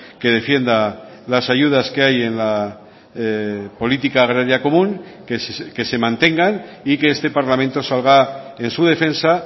que defienda las ayudas que hay en la política agraria común que se mantengan y que este parlamento salga en su defensa